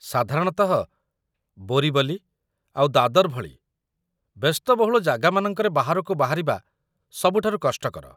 ସାଧାରଣତଃ, ବୋରିବଲି ଆଉ ଦାଦର ଭଳି ବ୍ୟସ୍ତବହୁଳ ଜାଗାମାନଙ୍କରେ ବାହାରକୁ ବାହାରିବା ସବୁଠାରୁ କଷ୍ଟକର ।